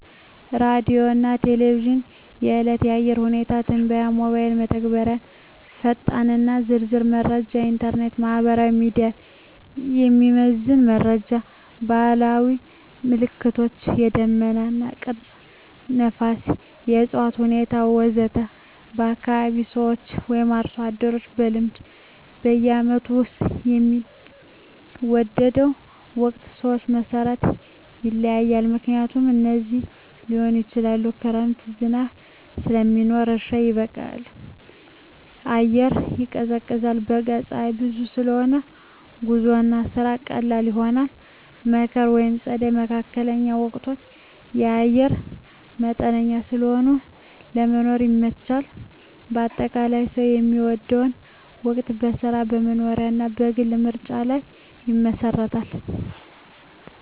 ሬዲዮና ቴሌቪዥን – የዕለት የአየር ሁኔታ ትንበያ ሞባይል መተግበሪያዎች ፈጣንና ዝርዝር መረጃ ኢንተርኔት/ማህበራዊ ሚዲያ – የሚዘመን መረጃ ባህላዊ ምልክቶች – የደመና ቅርጽ፣ ነፋስ፣ የእፅዋት ሁኔታ ወዘተ ከአካባቢ ሰዎች/አርሶ አደሮች – በልምድ በዓመቱ ውስጥ የሚወደው ወቅት ሰዎች መሠረት ይለያያል፣ ምክንያቶቹም እንዲህ ሊሆኑ ይችላሉ፦ ክረምት – ዝናብ ስለሚኖር እርሻ ይበቃል፣ አየር ይቀዝቃዛል። በጋ – ፀሐይ ብዙ ስለሆነ ጉዞና ስራ ቀላል ይሆናል። መከር/ጸደይ (መካከለኛ ወቅቶች) – አየር መጠነኛ ስለሆነ ለመኖር ይመቻቻል። አጠቃላይ፣ ሰው የሚወደው ወቅት በሥራው፣ በመኖሪያው እና በግል ምርጫው ላይ ይመሰረታል።